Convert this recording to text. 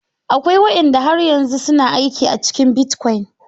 Akwai wadanda har yanzu suna aiki a cikin bitcoin.